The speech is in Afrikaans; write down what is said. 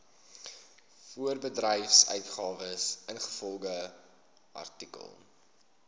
voorbedryfsuitgawes ingevolge artikel